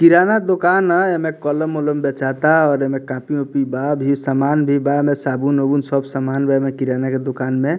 किराना दुकान ना ऐमे कलम-उलम बेचाता और ऐमे कॉपी - उपि बा भी समान भी बा में साबुन-उबुन सब सामान ब में किराना के दुकान में।